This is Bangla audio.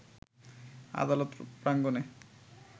আদালত প্রাঙ্গণে